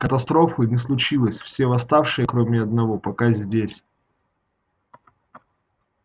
катастрофы не случилось все восставшие кроме одного пока здесь